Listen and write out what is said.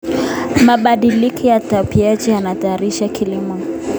Mabadiliko ya tabianchi yanahatarisha kilimo.